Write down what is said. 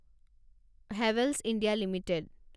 Havells India limited